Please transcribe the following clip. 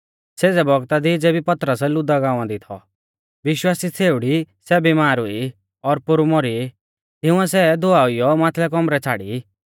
सेज़ै बौगता दी ज़ेबी पतरस लुद्दा गांवा दी थौ विश्वासी छ़ेउड़ी सै बिमार हुई और पोरु मौरी तिंउऐ सै धोआइऔ माथलै कौमरै छ़ाड़ी